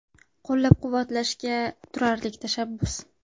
Qo‘llab-quvvatlashga turarlik tashabbus.